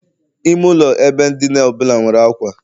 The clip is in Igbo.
Ime ụlọ ebe dina ọ bụla nwere ákwà